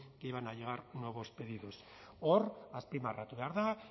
que iban a nuevos pedidos hor azpimarratu behar da